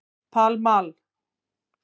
Pall Mall